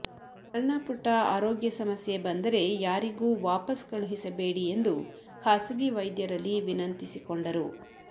ಸಣ್ಣ ಪುಟ್ಟ ಆರೋಗ್ಯ ಸಮಸ್ಯೆ ಬಂದರೆ ಯಾರಿಗೂ ವಾಪಸ್ ಕಳುಹಿಸಬೇಡಿ ಎಂದು ಖಾಸಗಿ ವೈದ್ಯರಲ್ಲಿ ವಿನಂತಿಸಿಕೊಂಡರು